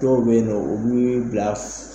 Dɔw bɛ yen nɔ u bi bila